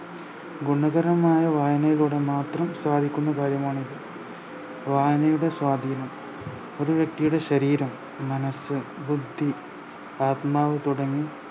ഗുണകരമായ വായനയിലൂടെ മാത്രം സാധിക്കുന്ന കാര്യമാണിത് വായനയുടെ സ്വാതീനം ഒര് വ്യക്തിയുടെ ശരീരം മനസ്സ ബുദ്ധ ആത്‌മാവ്‌ തുടങ്ങി